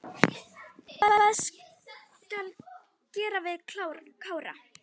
Hvað skal gera við Kára?